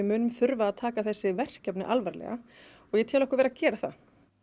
þurfum að taka þessi verkefni alvarlega og ég vel okkur vera að gera það